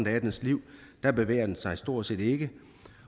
af deres liv bevæger de sig stort set ikke